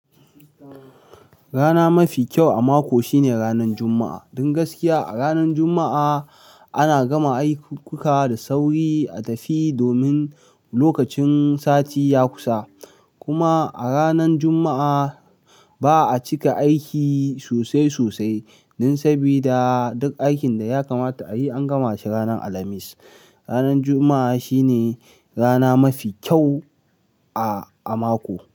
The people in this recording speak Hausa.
Rana mafi kyau a mako shine ranan Juma'a. Dun gaskiya a ranan Juma'a ana gama ayyuka da sauri a tafi domin lokacin sati ya kusa. Kuma a ranan Juma'a ba a cika aiki sosai sosai, dan sabida duk aikin da ya kamata a yi an gama shi ranan Alhamis. Ranan Juma'a shine rana mafi kyau a, a mako.